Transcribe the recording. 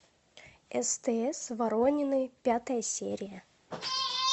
стс воронины пятая серия